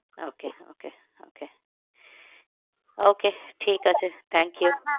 Okay okay okay okay ঠিক আছে